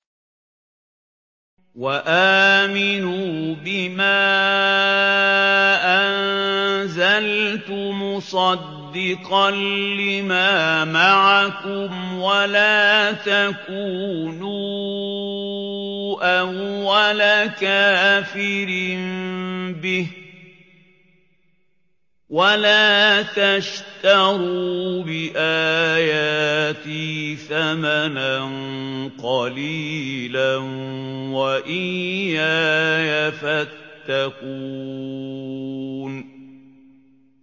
وَآمِنُوا بِمَا أَنزَلْتُ مُصَدِّقًا لِّمَا مَعَكُمْ وَلَا تَكُونُوا أَوَّلَ كَافِرٍ بِهِ ۖ وَلَا تَشْتَرُوا بِآيَاتِي ثَمَنًا قَلِيلًا وَإِيَّايَ فَاتَّقُونِ